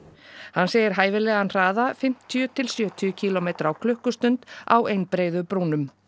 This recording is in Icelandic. hann segir hæfilegan hraða fimmtíu til sjötíu kílómetra á klukkustundum á einbreiðu brúnum